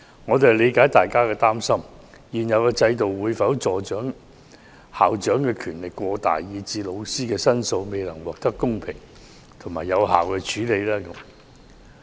我們理解，大家擔心現有制度會否令校長權力過大，以致老師的申訴未能獲得公平有效處理。